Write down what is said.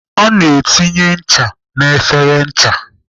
A na-etinye ncha n'efere ncha.